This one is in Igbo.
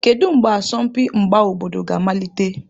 Kedu mgbe asọmpi mgba obodo ga-amalite?